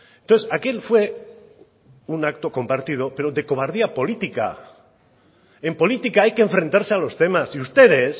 entonces aquel fue un acto compartido pero de cobardía política en política hay que enfrentarse a los temas y ustedes